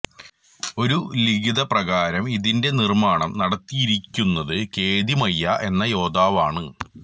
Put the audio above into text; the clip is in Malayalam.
ഒരു ലിഖിതപ്രകാരം ഇതിൻറെ നിർമ്മാണം നടത്തിയിരിക്കുന്നത് കേതിമയ്യ എന്ന യോദ്ധാവാണ്